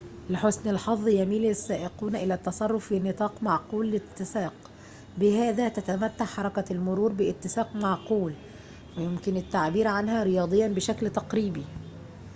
لحسن الحظ يميل السائقون إلى التصرّف في نطاق معقول الاتساق بهذا تتمتع حركة المرور باتساق معقول ويمكن التعبير عنها رياضيّاً بشكل تقريبي